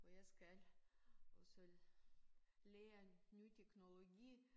Og jeg skal også lære en ny teknologi